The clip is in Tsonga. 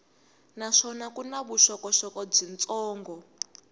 naswona ku na vuxokoxoko byitsongo